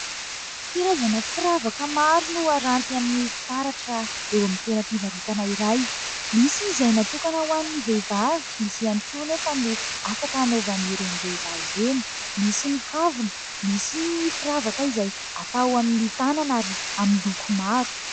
Karazana firavaka maro no aranty amin'ny fitaratra eo amin'ny toeram-pivarotana iray. Misy izay natokana ho an'ny vehivavy, misy ihany koa nefa no afaka hanaovan'ireny lehilahy ireny ; misy ny kavina, misy ny firavaka izay atao amin'ny tànana ary amin'ny loko maro.